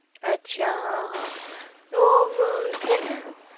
અચ્છા, હ હ તો છેને